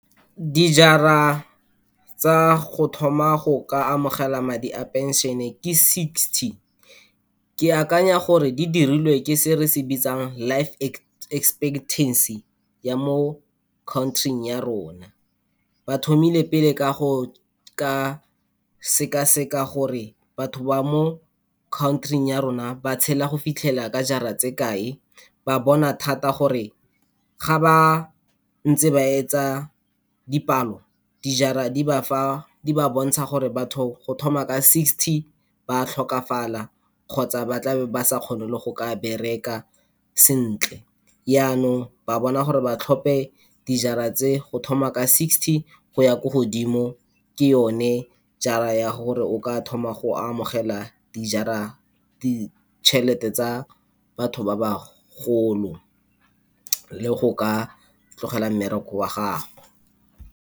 Dijara tsa go thoma go ka amogela madi a pension-e ke sixty. Ke akanya gore di dirilwe ke se re se bitsang life expectancy ya mo country-ing ya rona. Bathomile pele ka go ka sekaseka gore batho ba mo country-ing ya rona ba tshela go fitlhela ka jaar-a tsa kae, ba bona thata gore ga ba ntse ba etse dipalo, di-jaar-a di ba fa, di ba bontsha gore batho go thoma ka sixty ba tlhokafala kgotsa ba tla be ba sa kgone le go ka bereka sentle. Yanong ba bona gore ba tlhope di-jaar-a tse, go thoma ka sixty go ya ko godimo, ke yone jaar-a ya gore o ka thoma go amogela di-jaar-a, ditšhelete tsa batho ba ba golo le go ka tlogela mmereko wa gago.